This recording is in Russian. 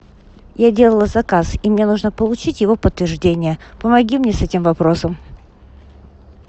я делала заказ и мне нужно получить его подтверждение помоги мне с этим вопросом